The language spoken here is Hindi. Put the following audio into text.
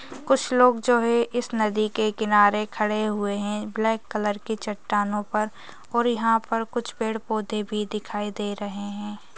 कुछ लोग जो है इस नदी के किनारे खड़े हुए है ब्लैक कलर की चट्टानों पर और यहाँ पर कुछ पेड़-पौधे भी दिखाई दे रहे है।